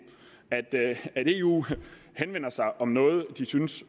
at eu henvender sig om noget de synes